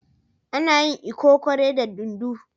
Ana yin lkokore da dunduu.